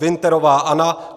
Winterová Anna